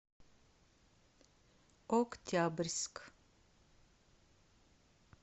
октябрьск